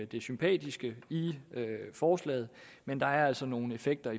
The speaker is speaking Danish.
det sympatiske i forslaget men der er altså nogle effekter